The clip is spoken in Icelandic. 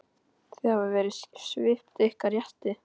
Þið hafið verið svipt ykkar rétti.